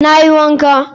Na yin wanka.